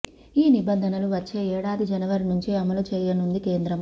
ఈ నిబంధనలు వచ్చే ఏడాది జనవరి నుంచి అమలు చేయనుంది కేంద్రం